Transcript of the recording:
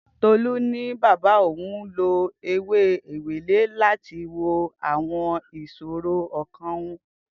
Tolu ni baba oun lo ewe ewele lati wo awon isoro okan oun.